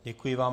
Děkuji vám.